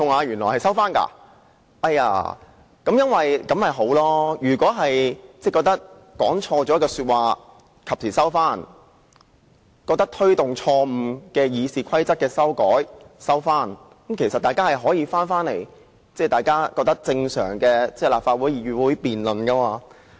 如果大家及時收回認為自己說錯的話，或撤回認為自己錯誤地提出的對《議事規則》的修訂，其實大家也可以令立法會回復正常的議會辯論。